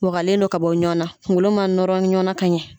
Wakalen don ka bɔ ɲɔn na kunkolo ma nɔrɔ ɲɔn na ka ɲɛ.